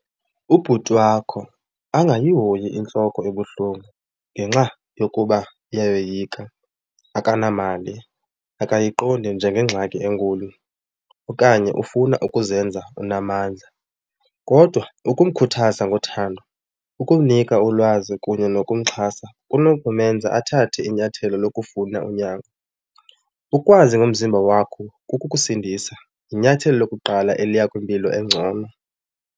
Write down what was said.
Ubhuti wakho angayihoyi intloko ebuhlungu ngenxa yokuba iyayoyika, akanamali, akayiqondi njengengxaki enkulu okanye ufuna ukuzenza unamandla. Kodwa ukumkhuthaza ngothando, ukumnika ulwazi kunye nokumxhasa kunokumenza athathe inyathelo lokufunda unyango. Ukwazi ngomzimba wakho kukukusindisa, yinyathelo lokuqala eliya kwimpilo engcono.